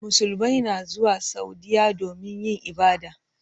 Musulmai na zuwa Saudiyya domin yin ibada.